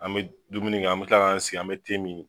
An bɛ dumuni kɛ, an bɛ kila k'an sigi an bɛ te min.